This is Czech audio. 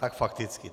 Tak fakticky.